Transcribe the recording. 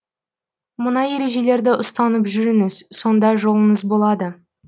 мына ережелерді ұстанып жүріңіз сонда жолыңыз болады